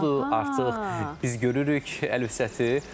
Budur artıq biz görürük Əlifşəti.